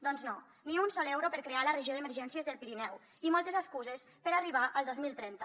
doncs no ni un sol euro per crear la regió d’emergències del pirineu i moltes excuses per arribar al dos mil trenta